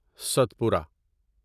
Satpura